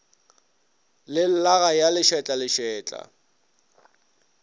le llaga ya lešetla lešetla